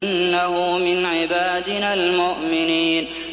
إِنَّهُ مِنْ عِبَادِنَا الْمُؤْمِنِينَ